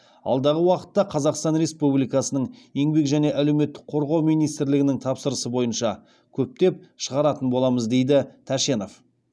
алдағы уақытта қазақстан республикасының еңбек және әлеуметтік қорғау министрлігінің тапсырысы бойынша көптеп шығаратын боламыз дейді тәшенов